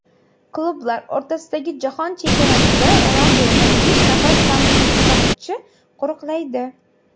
Klublar o‘rtasidagi jahon chempionatida Ronalduni besh nafar tansoqchi qo‘riqlaydi.